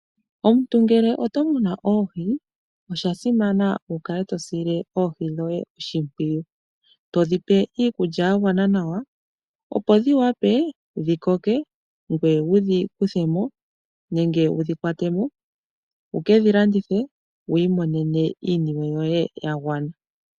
Omuntu ngele oto munu oohi osha simana oku kala to sile oohi dhoye oshimpwiyu. Todhi pe iikulya ya gwana nawa opo dhi wape dhi koke, ngoye wudhi kuthemo nenge wudhi kwatemo wukedhi landithe wu imonenemo iiyemo yoye ya gwana.